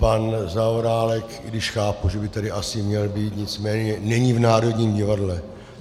Pan Zaorálek, i když chápu, že by tady asi měl být, nicméně není v Národním divadle.